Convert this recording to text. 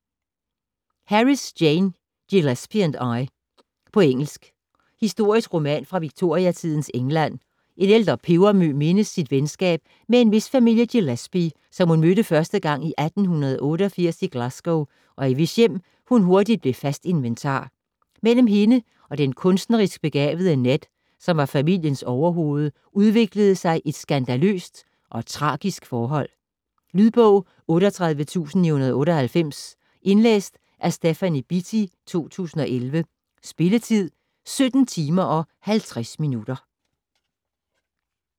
Harris, Jane: Gillespie and I På engelsk. Historisk roman fra Victoriatidens England. En ældre pebermø mindes sit venskab med en vis familie Gillespie, som hun mødte første gang i 1888 i Glasgow, og i hvis hjem hun hurtigt blev fast inventar. Mellem hende og den kunstnerisk begavede Ned, som var familiens overhoved, udviklede sig et skandaløst og tragisk forhold. Lydbog 38998 Indlæst af Stephanie Beattie, 2011. Spilletid: 17 timer, 50 minutter.